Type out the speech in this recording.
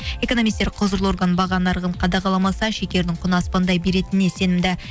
экономисттер құзырлы орган баға нарығын қадағаламаса шекердің құны аспандай беретініне сенімді